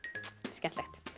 skemmtilegt